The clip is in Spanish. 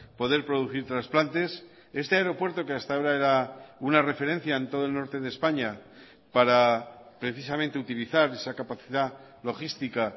poder producir trasplantes este aeropuerto que hasta ahora era una referencia en todo el norte de españa para precisamente utilizar esa capacidad logística